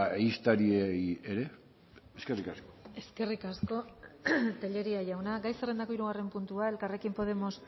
ehiztariei ere eskerrik asko eskerrik asko telleria jauna gai zerrendako hirugarren puntua elkarrekin podemos